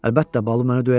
Əlbəttə, Balu məni döyəcək.